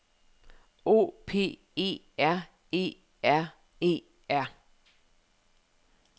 O P E R E R E R